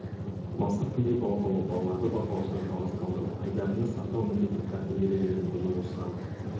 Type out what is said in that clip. мастық күйінде балық аулау балаларды бақылаусыз жалғыз қалдыру айдындарында сақтауға міндетті тәртіп ережелерін бұзу осыған